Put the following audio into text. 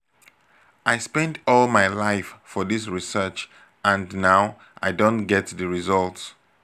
i spend all my life for dis research and now i don get the result